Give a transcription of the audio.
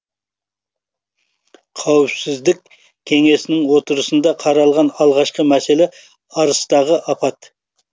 қауіпсіздік кеңесінің отырысында қаралған алғашқы мәселе арыстағы апат